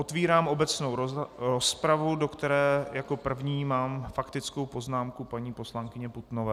Otvírám obecnou rozpravu, do které jako první mám faktickou poznámku paní poslankyně Putnové.